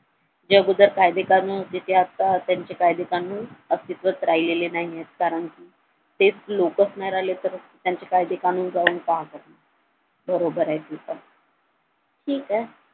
या अगोदर कायदे कानून होते ते आता त्यांचे कायदे कानून अस्तित्वात राहिलेले नाहीयेत कारण कि तेच लोकच नाय राहिलेत तर त्यांचे कायदे कानून काय राहतील बरोबर आहे तीच ठीक आहे